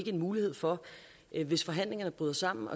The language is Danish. en mulighed for hvis forhandlingerne bryder sammen